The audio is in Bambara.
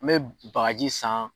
N bɛ bagaji san.